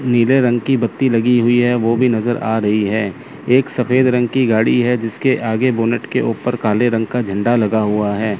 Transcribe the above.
नीले रंग की बत्ती लगी हुई है वो भी नजर आ रही है एक सफेद रंग की गाड़ी है जिसके आगे बोनट के ऊपर काले रंग का झंडा लगा हुआ है।